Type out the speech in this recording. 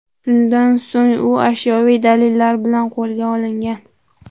Shundan so‘ng u ashyoviy dalillar bilan qo‘lga olingan.